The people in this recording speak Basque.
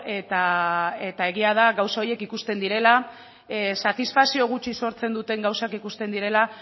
eta egia da gauza horiek ikusten direla satisfazio gutxi sortzen duten gauzak ikusten direla